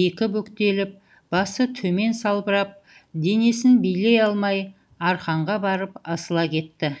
екі бүктеліп басы темен салбырап денесін билей алмай арқанға барып асыла кетті